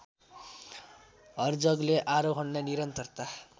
हर्जगले आरोहणलाई निरन्तरता